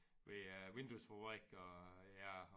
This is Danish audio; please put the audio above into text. Ved æ vinduesfabrik og ja